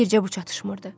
Bircə bu çatışmırdı.